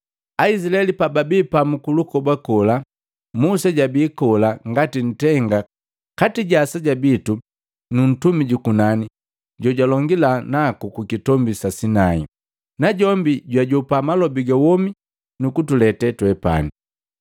Aizilaeli pababii pamu kulukoba kola, Musa jabii kola ngati ntenga kati ja aseja bitu nu ntumi jukunani jojalongila naku Kukitombi si Sinai, najombi jwajopa malobi ga womi kutulete twepani.”